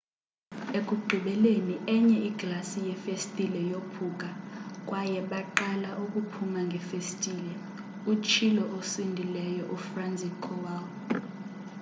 ekugqibeleni enye iglasi yefestile yophuka kwaye baqala ukuphuma ngefestile utshilo osindileyo ufranciszek kowal